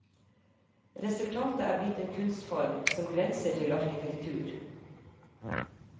Resultatet er blitt en kunstform, som grenser til arkitektur.